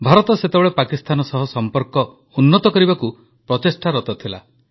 ଭାରତ ସେତେବେଳେ ପାକିସ୍ତାନ ସହ ସମ୍ପର୍କ ଉନ୍ନତ କରିବାକୁ ପ୍ରଚେଷ୍ଟାରତ ଥିଲା